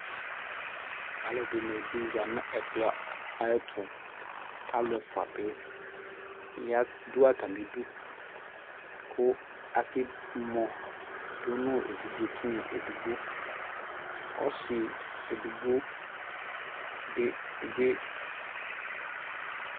alʋ ɛdini bi zanʋ ɛkplɔ ayɛtʋ, alʋ ɛƒʋa bi dʋ atamidʋ kʋ aka mɔ dʋnʋ ɛvidzɛ tinya ɛdigbɔ, ɔsii ɛdigbɔ dibi.